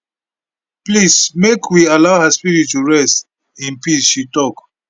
please make we allow her spirit to rest in peace she tok